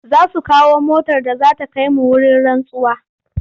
Za su kawo motar da za ta kai mu wurin rantsuwa.